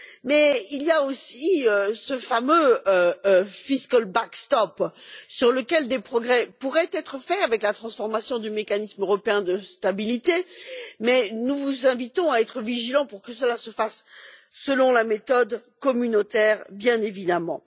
Mais il y a aussi ce fameux dispositif de soutien budgétaire sur lequel des progrès pourraient être faits avec la transformation du Mécanisme européen de stabilité, mais nous vous invitons à être vigilants pour que cela se fasse selon la méthode communautaire, bien évidemment.